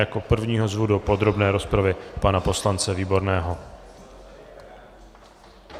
Jako prvního zvu do podrobné rozpravy pana poslance Výborného.